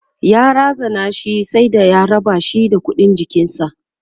ya razana shi sai da ya rabashi da ƙuɗin jikinshi